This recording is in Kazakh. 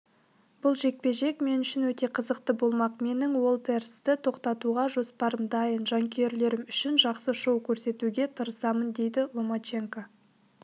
бұл жекпе-жек мен үшін өте қызықты болмақ менің уолтерсті тоқтатуға жоспарым дайын жанкүйерлерім үшін жақсы шоу көрсетуге тырысамын дейді ломаченко